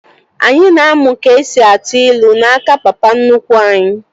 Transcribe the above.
Anyị na-amụ ka esi atụ ilu n'aka papa nnukwu anyi